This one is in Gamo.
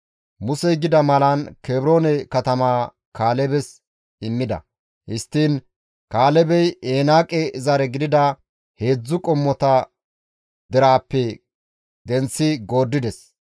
Musey gida malan Kebroone katamaa Kaalebes immida; histtiin Kaalebey Enaaqe zare gidida heedzdzu qommota deraappe denththi gooddides.